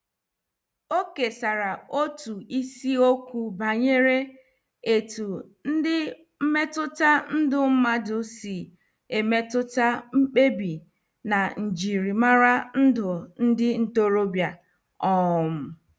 O kesara otu isiokwu banyere etu ndị mmetụta ndụ mmadụ si emetụta mkpebi na njirimara ndụ ndị ntorobịa. um